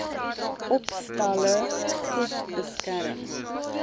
opstalle goed beskerm